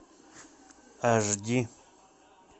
аш ди